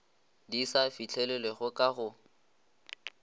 di sa fihlelelwego ka go